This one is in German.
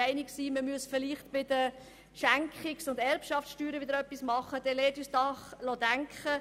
Wenn wir die Idee verfolgen wollen, die Schenkungssteuer anzupassen, dann lassen Sie uns doch darüber nachdenken.